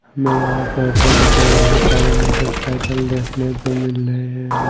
मे यहां पर रोड पे बहोत सारे मोटरसाइकिल देखने से मिल रहे है।